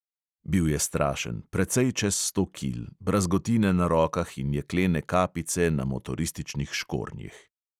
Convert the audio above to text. Bil je strašen, precej čez sto kil, brazgotine na rokah in jeklene kapice na motorističnih škornjih.